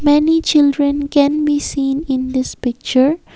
many children can be seen in this picture.